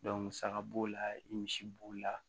musaka b'o la i misi b'o la